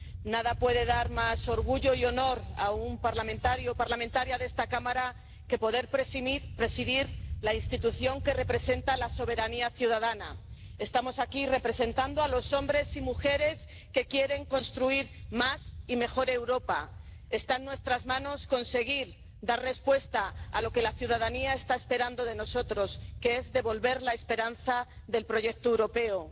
Nada puede dar más orgullo y honor a un parlamentario o parlamentaria de esta Cámara que poder presidir la institución que representa la soberanía ciudadana. Estamos aquí representando a los hombres y mujeres que quieren construir más y mejor Europa. Está en nuestras manos conseguir dar respuesta a lo que la ciudadanía está esperando de nosotros, que es devolver la esperanza del proyecto europeo.